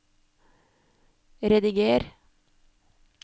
rediger